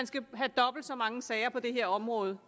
skal have dobbelt så mange sager på det her område